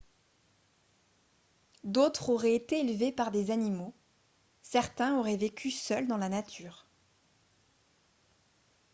d’autres auraient été élevés par des animaux ; certains auraient vécu seuls dans la nature